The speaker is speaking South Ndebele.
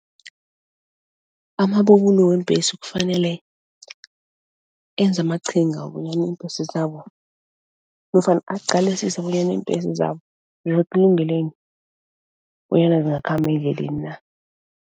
Amabubulo weembhesi kufanele enze amaqhinga wokobonyana iimbhesi zabo nofana aqalisise bonyana iimbhesi zabo bonyana zingakhamba endleleni na.